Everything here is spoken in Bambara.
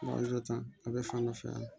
a bɛ fɔ an nɔ fɛ yan